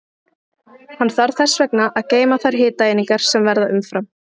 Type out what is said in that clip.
Hann þarf þess vegna að geyma þær hitaeiningar sem verða umfram.